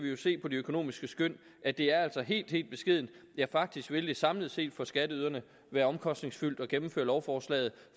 se på de økonomiske skøn at det altså er helt beskedent ja faktisk vil det samlet set for skatteyderne være omkostningsfyldt at gennemføre lovforslaget